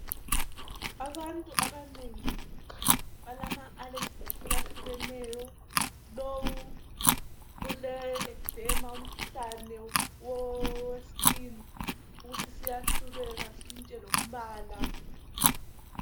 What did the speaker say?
abantu abanengi balama allergies ahlukahlukeneyo lowu ule exema mkhuhlane we skin siyahlubeka sitshintshe lombala